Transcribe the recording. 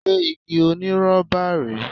Ṣé igi onírọ́bà rèé?